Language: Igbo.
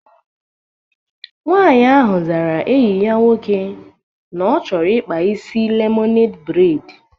Nwaanyị ahụ zara enyi ya nwoke na ọ chọrọ ịkpa isi lemoned breid